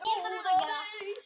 Ekkert frekar honum en öðrum.